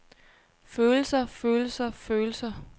følelser følelser følelser